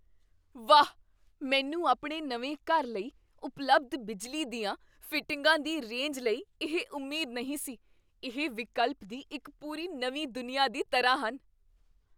ਵਾਹ, ਮੈਨੂੰ ਆਪਣੇ ਨਵੇਂ ਘਰ ਲਈ ਉਪਲਬਧ ਬਿਜਲੀ ਦੀਆਂ ਫਿਟਿੰਗਾਂ ਦੀ ਰੇਂਜ ਲਈ ਇਹ ਉਮੀਦ ਨਹੀਂ ਸੀ ਇਹ ਵਿਕਲਪ ਦੀ ਇੱਕ ਪੂਰੀ ਨਵੀਂ ਦੁਨੀਆ ਦੀ ਤਰ੍ਹਾਂ ਹਨ!